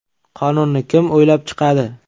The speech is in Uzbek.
Qonunni kim o‘ylab chiqadi?